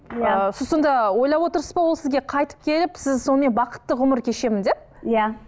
иә сіз сонда ойлап отырсыз ба ол сізге қайтып келіп сіз сонымен бақытты ғұмыр кешемін деп иә